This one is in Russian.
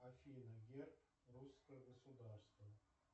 афина герб русского государства